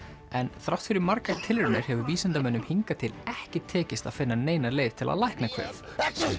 en þrátt fyrir margar tilraunir hefur vísindamönnum hingað til ekki tekist að finna neina leið til að lækna kvef